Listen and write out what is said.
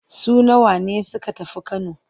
Su nawa ne suka tafi Kano?